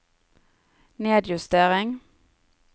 nedjustering